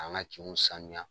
An ka kinw sanuya.